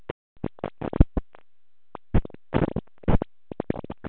Samkvæmishaldið sem fylgir þinginu leiðist honum, glaumurinn og innantómt tittlingadrápið.